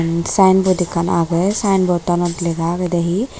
sign board ekkan agey sign board tanot lega agede he.